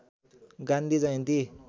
Gandhi Jayanti